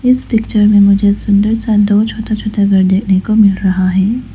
इस पिक्चर में मुझे सुंदर सा दो छोटे छोटे घर देखने को मिल रहा है।